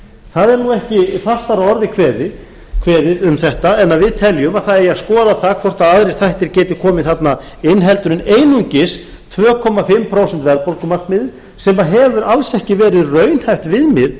það er nú ekki fastar að orði kveðið um þetta en að við teljum að við eigum að skoða það hvort aðrir þættir geti komið þarna inn heldur en einungis tvö og hálft prósent verðbólgumarkmiðið sem hefur alls ekki verið raunhæft viðmið